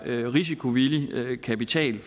risikovillig kapital